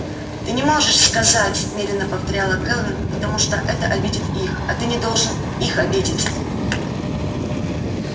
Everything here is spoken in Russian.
ты не можешь сказать медленно повторяла кэлвин потому что это обидит их а ты не должен их обидеть